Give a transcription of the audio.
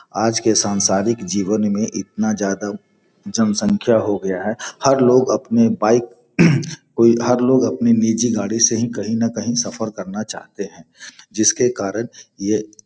आज के सांसारिक जीवन में इतना ज्यादा जनसँख्या हो गया है हर लोग अपने बाइक को हर लोग अपने निजी गाड़ी से ही कहीं न कहीं सफर करना चाहते हैं जिसके कारण यह --